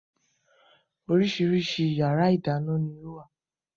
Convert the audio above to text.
Oríṣiríṣi yàrá ìdáná ni ó wà